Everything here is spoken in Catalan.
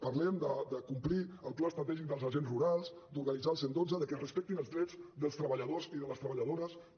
parlem de complir el pla estratègic dels agents rurals d’organitzar el cent i dotze de que es respectin els drets dels treballadores i de les treballadores també